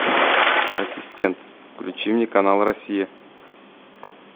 ассистент включи мне канал россия